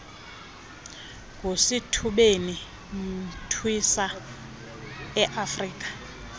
ngusithubeni imntwisa iafrika